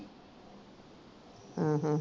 ਅਹ